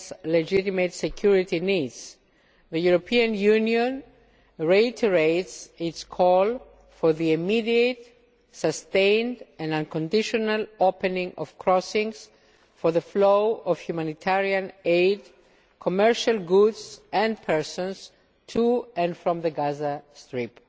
legitimate security needs, the European Union reiterates its call for the immediate, sustained and unconditional opening of crossings for the flow of humanitarian aid, commercial goods and persons to and from the Gaza Strip.